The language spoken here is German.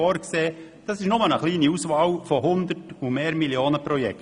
Dies ist nur eine kleine Auswahl an Projekten, die 100 oder mehr Millionen Franken kosten.